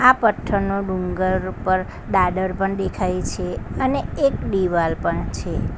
આ પથ્થરનો ડુંગર ઉપર દાદર પણ દેખાય છે અને એક દિવાલ પણ છે.